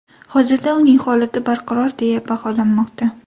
Hozirda uning holati barqaror deya baholanmoqda.